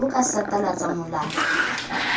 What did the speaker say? ne o ka satalatsa molala